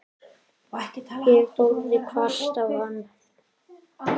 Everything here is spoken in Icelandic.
Ég horfði hvasst á hann.